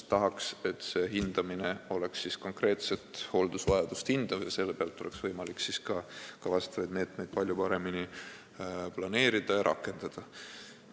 Tahaks, et tulevikus hinnataks konkreetset hooldusvajadust ja selle põhjal oleks võimalik ka meetmeid palju paremini planeerida ja rakendada.